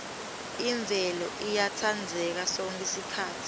imvelo iyatsandzeka sonkhe sikhatsi